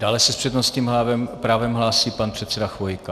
Dále se s přednostním právem hlásí pan předseda Chvojka.